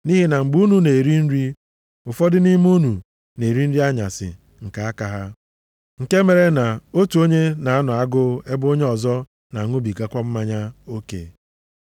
Nʼihi na mgbe unu na-eri nri, ụfọdụ nʼime unu na-eri nri anyasị nke aka ha. Nke mere, nʼotu onye na-anọ agụụ ebe onye ọzọ na-aṅụbigakwa mmanya oke.